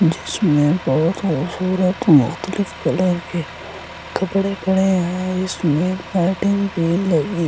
जिसमें बहुत खूबसूरत मुख्तलिफ कलर के कपड़े पड़े हैं इसमें आइ थिंक सेल लगी --